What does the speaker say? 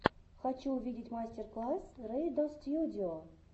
хочу увидеть мастер класс рэйдостьюдио